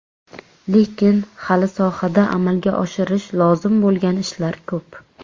Lekin hali sohada amalga oshirish lozim bo‘lgan ishlar ko‘p.